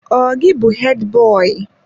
Ọ gị bụ Hedi boyi?